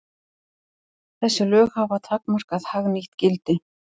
Þessi lög hafa takmarkað hagnýtt gildi.